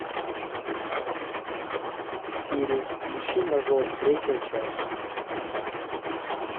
сири включи мажор третья часть